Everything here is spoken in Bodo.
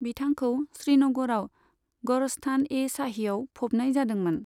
बिथांखौ श्रीनगराव गरस्तान ए शाहीयाव फबनाय जादोंमोन।